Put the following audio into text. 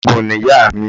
Olóògùn ni ìyá mi.